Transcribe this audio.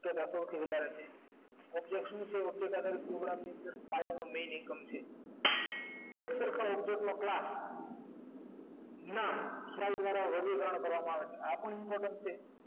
એ password છે object શું છે object આગડ program ની અંદર main income છે object નો ક્લા ના કરવામાં આવે છે આ પણ important છે